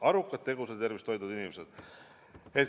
Arukad, tegusad ja tervist hoidvad inimesed!